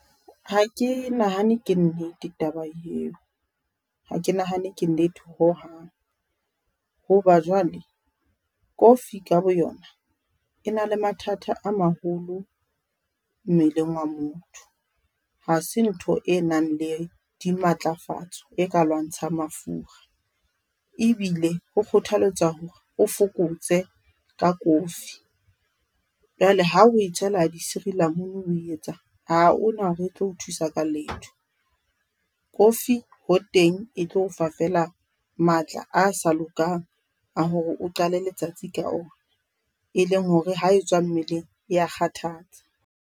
Ha ke nahane ke nnete taba yeo, ha ke nahane ke nnete ho hang, ho ba jwale kofi ka boyona e na le mathata a maholo mmeleng wa motho. Ha se ntho e nang le di matlafatso e ka lwantshang mafura, ebile ho kgothaletswa hore o fokotse ka kofi. Jwale ha o e tshela di sirilamunu o etsang ha hona hore e tlo o thusa ka letho. Kofi ho teng e tlo o fa fela matla a sa lokang a hore o qale letsatsi ka ona, e leng hore ha e tswa mmeleng ya kgathatsa.